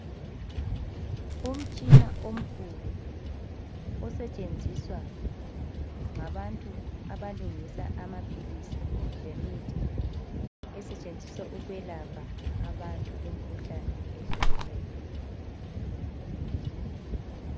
Umtshina omkhulu osetshenziswa ngabantu abalungisa amaphilisi lemithi esetshenziswa ukwelapha abantu imikhuhlane ehlukeneyo.